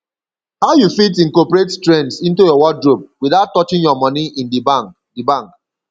how you fit incorporate trends into your wardrobe without touching your money in di bank di bank